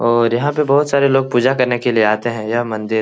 और यहाँ पे बहुत सारे लोग पूजा करने के लिए आते है यह मंदिर --